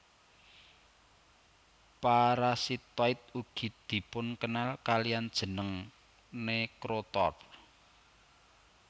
Parasitoid ugi dipunkenal kaliyan jeneng necrotroph